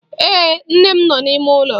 Ee, nne m nọ n'ime ụlọ.